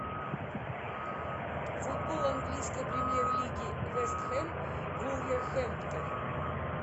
футбол английской премьер лиги вест хэм вулверхэмптон